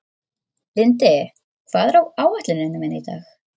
Lindi, hvað er á áætluninni minni í dag?